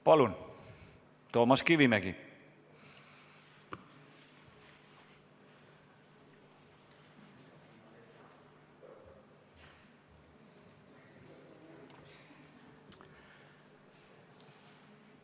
Palun, Toomas Kivimägi!